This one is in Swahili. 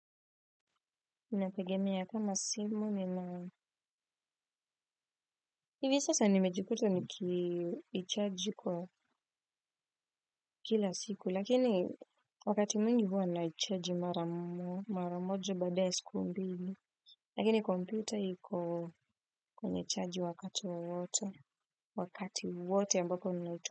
Ninategemea sana simu ni na hivi sasa nimejikuta nikiichaji kwa kila siku lakini wakati mwingi huwa naichaji maramojo baada ya siku mbili lakini kompyuta iko kwenye chanjii wakati wowote wakati wote ambapo nina.